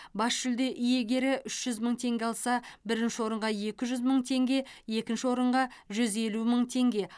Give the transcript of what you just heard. бас жүлде иегері үш жүз мың теңге алса бірінші орынға екі жүз мың теңге екінші орынға жүз елу мың теңге